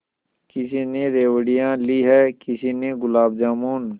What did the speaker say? किसी ने रेवड़ियाँ ली हैं किसी ने गुलाब जामुन